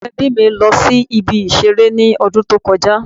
Àwọn ẹbí mi lọ sí ibi ìṣeré ní ọdún tó kọ já